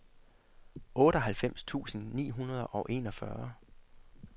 otteoghalvfems tusind ni hundrede og enogfyrre